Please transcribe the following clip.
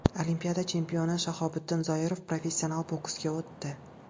Olimpiada chempioni Shahobiddin Zoirov professional boksga o‘tdi.